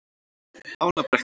Ánabrekku